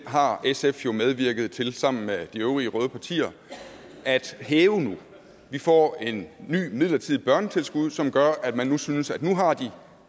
har sf jo medvirket til sammen med de øvrige røde partier at hæve nu de får et nyt midlertidigt børnetilskud som gør at man synes at nu har de